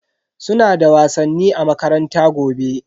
Suna da wasanni a makaranta gobe.